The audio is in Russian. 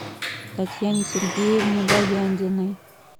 татьяне сергеевне баяндиной